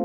g